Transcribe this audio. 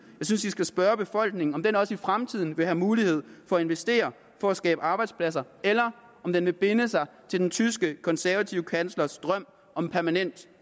synes vi skal spørge befolkningen om den også i fremtiden vil have mulighed for at investere for at skabe arbejdspladser eller om den vil binde sig til den tyske konservative kanslers drøm om en permanent